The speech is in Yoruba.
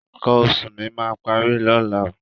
Nǹkan oṣù mi máa parí lọ́la.